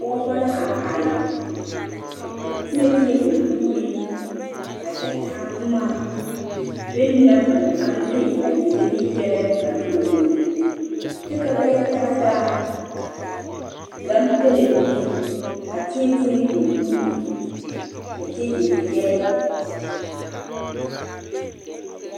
Pɔgebo la a are a tie tie ba nuure a kyɛ taa boma bona ba naŋ maŋ de a yele ne yɛllɛ ka noba wono kyɛ ka ba yɛ taa taa gane pelɛɛ mine a tie tie ba nuure a kyɛ yele yɛllɛ.